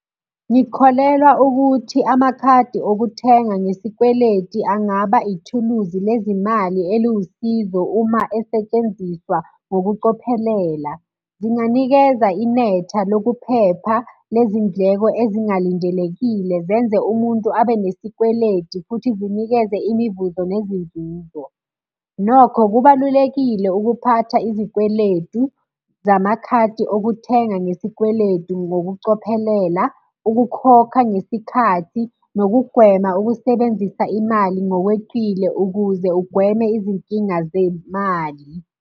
Ngikholelwa ukuthi amakhadi okuthenga ngesikweleti angaba ithuluzi lezimali eliwusizo uma esetshenziswa ngokucophelela. Zinganikeza inetha lokuphepha lezindleko ezingalindelekile zenze umuntu abe nesikweleti, futhi zinikeze imivuzo nezinzuzo. Nokho kubalulekile ukuphatha izikweletu zamakhadi okuthenga ngesikweletu ngokucophelela, ukukhokha ngesikhathi, nokugwema ukusebenzisa imali ngokweqile ukuze ugweme izinkinga zemali.